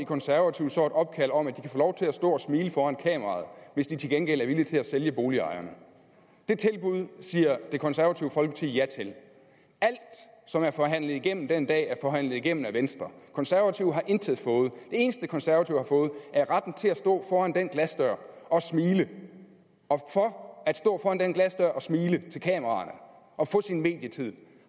konservative så et opkald om at de få lov til at stå og smile foran kameraet hvis de til gengæld er villig til at sælge boligejerne det tilbud siger det konservative folkeparti ja til alt som er forhandlet igennem den dag er forhandlet igennem af venstre konservative har intet fået det eneste konservative har fået er retten til at stå foran den glasdør og smile og for at stå foran den glasdør og smile til kameraerne og få sin medietid